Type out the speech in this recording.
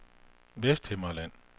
Vesthimmerland